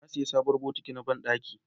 na saya sabon bokiti na banɗaki